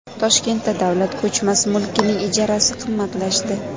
Toshkentda davlat ko‘chmas mulkining ijarasi qimmatlashdi.